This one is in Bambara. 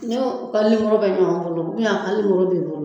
Ni o ka nimɔrɔ bɛ ɲɔgɔn bolo bɛ o bolo